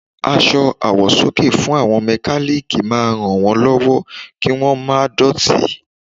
Aṣọ àwọ̀sọ́kè fún àwọn mẹkálíkì máa ràn wón lọ́wọ́ kí wón má dọ̀tí.